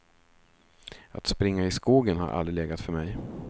Att springa i skogen har aldrig legat för mig.